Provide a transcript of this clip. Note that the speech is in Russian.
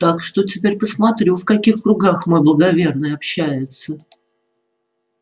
так что теперь посмотрю в каких кругах мой благоверный общается